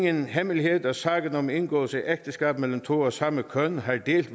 ingen hemmelighed at sagen om indgåelse af ægteskab mellem to af samme køn har delt